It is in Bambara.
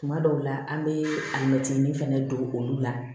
Tuma dɔw la an bɛ a mɛtinin fana don olu la